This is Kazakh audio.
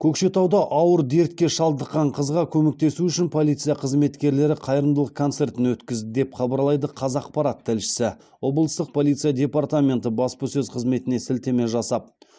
көкшетауда ауыр дертке шалдыққан қызға көмектесу үшін полиция қызметкерлері қайырымдылық концертін өткізді деп хабарлайды қазақпарат тілшісі облыстық полиция департаменті баспасөз қызметіне сілтеме жасап